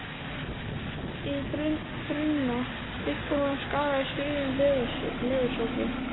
ið brunna, upp úr honum skagaði sviðinn leðursófi.